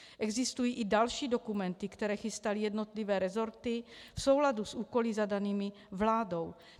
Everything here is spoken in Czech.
Existují i další dokumenty, které chystaly jednotlivé resorty v souladu s úkoly zadanými vládou.